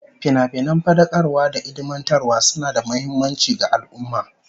Finafinan fadakarwa da ilmantarwa suna da muhimmanci ga al'ummah